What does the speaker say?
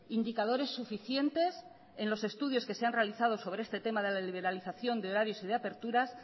indicadores suficientes en los estudios que se han realizado sobre este tema de la liberalización de horarios y de aperturas